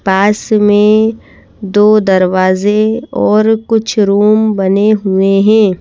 पास में दो दरवाजे और कुछ रूम बने हुए हैं।